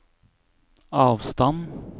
avstand